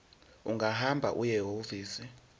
ungahamba uye ehhovisi